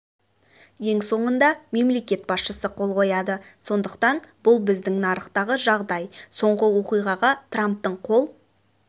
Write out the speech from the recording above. ең соңында мемлекет басшысы қол қояды сондықтан бұл біздің нарықтағы жағдай соңғы оқиғаға трамптың қол